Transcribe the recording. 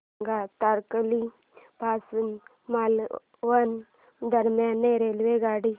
सांगा तारकर्ली पासून मालवण दरम्यान रेल्वेगाडी